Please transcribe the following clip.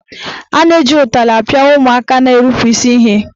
A na-eji ụtarị apịa ụmụaka na-erupu isi ihe.